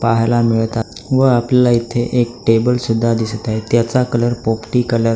पहायला मिळतात व आपल्याला इथे एक टेबल सुद्धा दिसत आहे त्याचा कलर पोपटी कलर आहे.